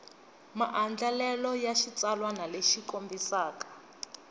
maandlalelo ya xitsalwana lexi kombisaka